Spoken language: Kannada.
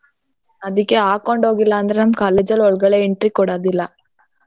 ಅದಿಕ್ಕೆ ಹಾಕೊಂಡ್ ಹೋಗಿಲ್ಲ ಅಂದ್ರೆ ನಮ್ college ಅಲ್ಲಿ ಒಳಗಡೆ entry ಕೊಡದಿಲ್ಲ.